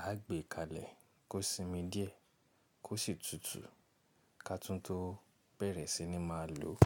a á gbé kalẹ̀ kó sinmi díẹ̀ kó sì tutù ká tún tó bẹ̀rẹ̀ si ni má a lò ó.